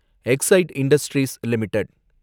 excite industries limited